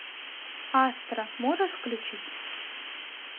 астра можешь включить